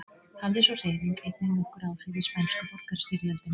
hafði sú hreyfing einnig nokkur áhrif í spænsku borgarastyrjöldinni